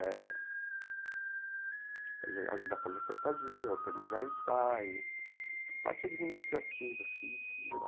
Eh fazer ajudar a fazer fantasia, organizar ensaio, a parte administrativa assim geral.